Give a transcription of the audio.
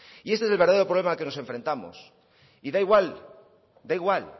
y este es el verdadero problema al que nos enfrentamos y da igual da igual